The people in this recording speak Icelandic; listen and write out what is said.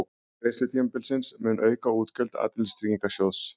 Lenging greiðslutímabilsins mun auka útgjöld Atvinnuleysistryggingasjóðs